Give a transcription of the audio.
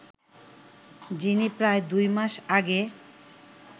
যিনি প্রায় দুই মাস আগে